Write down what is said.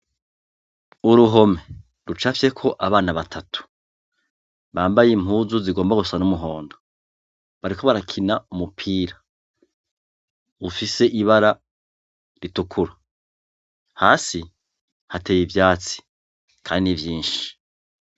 Kuruhome, rucafyeko abana batatu, bambaye impuzu zigomba gusa numuhondo, bariko barakina umupira. Ufis ibara ritukura. Hasi hateye ivyatsi, kandi vyinshi.